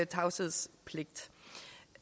tavshedspligt